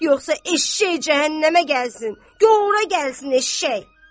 Yoxsa eşşəy cəhənnəmə gəlsin, göh ora gəlsin eşşəy.